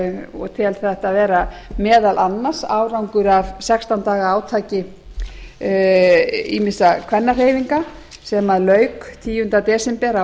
og tel þetta vera meðal annars árangur af sextán daga átaki ýmissa kvennahreyfinga sem lauk tíunda desember á